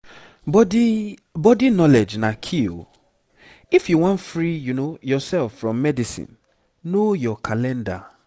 body body knowledge na key o. if you wan free yourself from medicine know your calendar